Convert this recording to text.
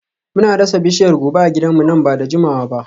Muna dasa bishiyar goba a gidanmu nan ba da jimawa ba.